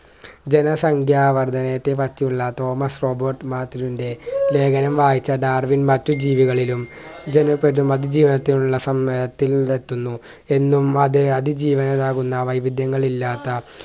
ജനസംഖ്യ വർധനത്തെപ്പറ്റിയുള്ള Thomas Robert മാർട്ടിനിൻ്റെ ലേഖനം വായിച്ച ഡാർവിൻ മറ്റ് ജീവികളിലും ജന അതിജീവനത്തിനുള്ള സമ്മേത്തിനും എത്തുന്നു എന്നും അത് അതിജീവനമാകുന്ന വൈവിധ്യങ്ങൾ ഇല്ലാത്ത